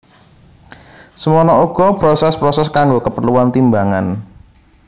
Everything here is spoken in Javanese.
Semana uga proses proses kanggo keperluan timbangan